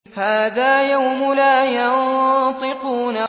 هَٰذَا يَوْمُ لَا يَنطِقُونَ